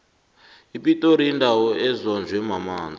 ipitori yindawo ezonjwe mamanzi